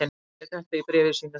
Bogi segir þetta í bréfi sínu: